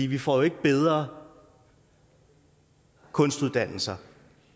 vi får jo ikke bedre kunstuddannelser